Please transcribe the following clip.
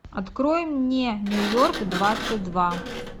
открой мне нью йорк двадцать два